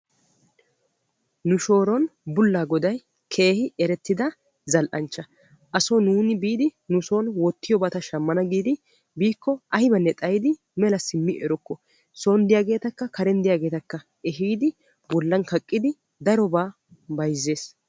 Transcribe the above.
Nu shooron bullaa goday keehi erettida zal"anchcha. Aso nuuni biidi nuson wottiyobata shammana giidi biikko aybanne xayidi mela simmi erokko son diyaageetakka karen diyaageetakka ehiidi bollan kaqqidi darobaa bayzzees.